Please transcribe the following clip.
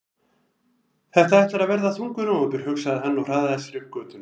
Þetta ætlar að verða þungur nóvember, hugsaði hann og hraðaði sér upp götuna.